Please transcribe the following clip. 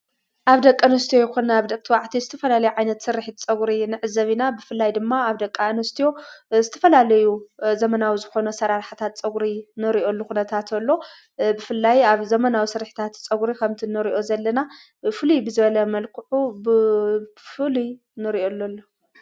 ኣብ ደቀ ንስት ይኮንነ ኣብ ደግትዋዕቲ ዝትፈላልይ ዓይነት ሥርሕት ጸጕሪ ንዕሲ ዘቢና ብፍላይ ድማ ኣብ ደቃ እንስትዮ ዝተፈላለዩ ዘመናዊ ዝኾነ ሠራራሕታት ጸጕሪ ነሪእኦ ሉ ኹነታትሎ ብፍላይ ኣብ ዘመናዊ ሥርሕታት ጸጕሪ ኸምቲ ነርእዮ ዘለና ፍሉይ ብዘበለ መልክዑ ብፍሉይ ነርእኡኣሎ ኣሎ።